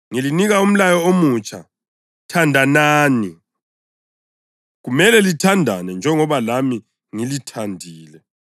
Ngilinika umlayo omutsha: Thandanani. Kumele lithandane njengoba lami ngilithandile.